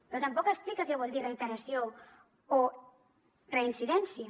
però tampoc explica què vol dir reiteració o reincidència